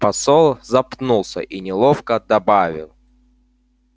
посол запнулся и неловко добавил